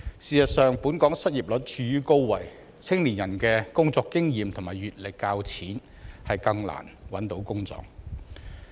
事實上，本港失業率處於高位，年輕人的工作經驗和閱歷較淺，更難找到工作。